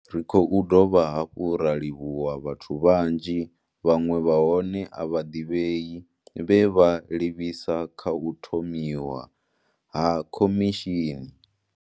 Ri khou dovha hafhu ra livhuwa vhathu vhanzhi, vhaṅwe vha hone a vha ḓivhei, vhe vha livhisa kha u thomiwa ha khomishini.